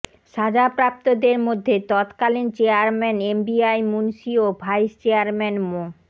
সাজাপ্রাপ্তদের মধ্যে তৎকালীন chairman MBI Munshi ও ভাইস চেয়ারম্যান মো